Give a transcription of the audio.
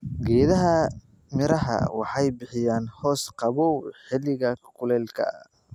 Geedaha miraha waxay bixiyaan hoos qabow xilliga kuleylka.